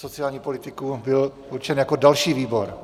... sociální politiku byl určen jako další výbor.